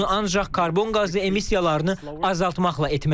Bunu ancaq karbon qazı emissiyalarını azaltmaqla etmək olar.